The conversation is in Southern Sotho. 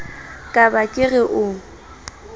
ka ba ke re o